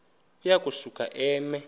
uya kusuka eme